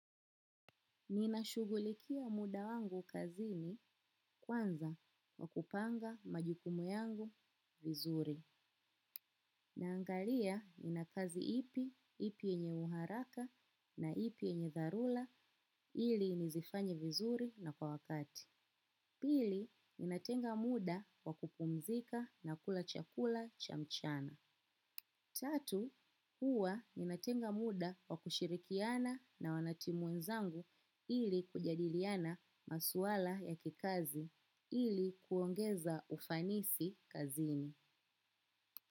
Ninashughulikia muda wangu kazini kwanza kwa kupanga majukumu yangu vizuri. Naangalia nina kazi ipi, ipi yenye uharaka na ipi yenye dharula ili nizifanye vizuri na kwa wakati. Pili, ninatenga muda wa kupumzika na kula chakula cha mchana. Tatu, huwa ninatenga muda wa kushirikiana na wanatimu wenzangu ili kujadiliana maswala ya kikazi ili kuongeza ufanisi kazini.